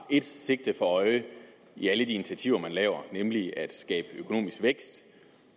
et sigte for øje i alle de initiativer man tager nemlig at skabe økonomisk vækst